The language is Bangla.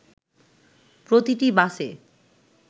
প্রতিটি বাসে